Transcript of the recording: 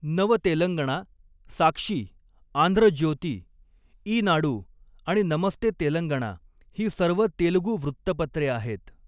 नव तेलंगणा, साक्षी, आंध्र ज्योती, ईनाडू आणि नमस्ते तेलंगणा ही सर्व तेलगू वृत्तपत्रे आहेत.